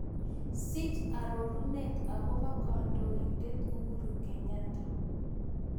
Siich arorunet agoboo kandoiindet Uhuru Kenyatta